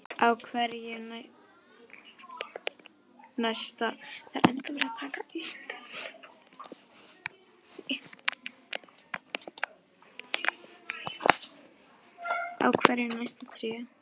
Á hverju nærast tré?